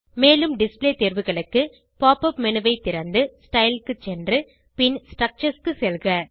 மேலும் டிஸ்ப்ளே தேர்வுகளுக்கு pop up menu ஐ திறந்து ஸ்டைல் க்கு சென்று பின் ஸ்ட்ரக்சர்ஸ் செல்க